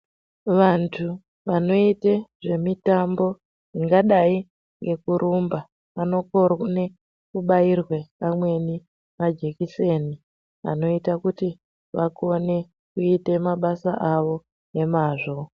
Vantu vanoite zvemitambo zvingadai ngekurumba vanokone kubairwe amweni majekiseni, anoita kuti vakone kuite mabasa avo nemazvo.